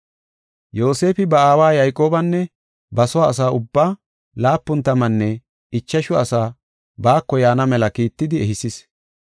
Yoosefi ba aawa Yayqoobanne ba soo asa ubbaa, laapun tammanne ichashu asaa baako yaana mela kiittidi ehisis.